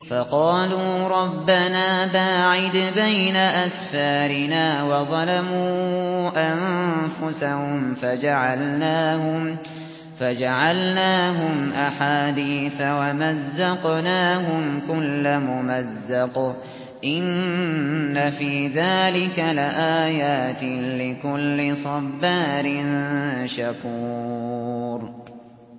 فَقَالُوا رَبَّنَا بَاعِدْ بَيْنَ أَسْفَارِنَا وَظَلَمُوا أَنفُسَهُمْ فَجَعَلْنَاهُمْ أَحَادِيثَ وَمَزَّقْنَاهُمْ كُلَّ مُمَزَّقٍ ۚ إِنَّ فِي ذَٰلِكَ لَآيَاتٍ لِّكُلِّ صَبَّارٍ شَكُورٍ